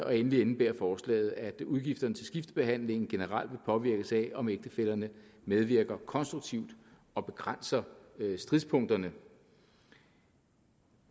og endelig indebærer forslaget at udgifterne til skiftebehandling generelt vil påvirkes af om ægtefællerne medvirker konstruktivt og begrænser stridspunkterne